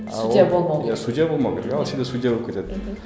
судья болмауы керек ал судья болып кетеді мхм